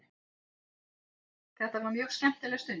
Þetta var mjög skemmtileg stund.